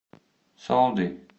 солди